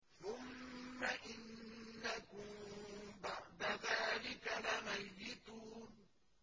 ثُمَّ إِنَّكُم بَعْدَ ذَٰلِكَ لَمَيِّتُونَ